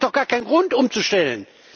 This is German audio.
Es gibt auch gar keinen Grund umzustellen.